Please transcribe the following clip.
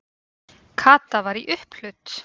Kata var í upphlut.